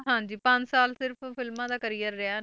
ਹਾਂਜੀ ਪੰਜ ਸਾਲ ਸਿਰਫ਼ ਫਿਲਮਾਂ ਦਾ career ਰਿਹਾ,